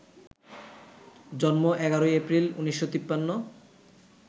জন্ম ১১ই এপ্রিল, ১৯৫৩